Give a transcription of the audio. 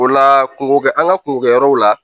O la kungo kɛ an ka kungo kɛ yɔrɔw la